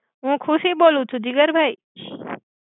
હુ ખુશિ બોલુ છુ. જિગર ભાઇ.